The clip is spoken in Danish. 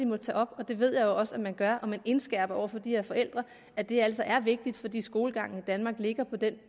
må tage op og det ved jeg også at man gør jeg at man indskærper over for de her forældre at det altså er vigtigt fordi skolegangen i danmark ligger på det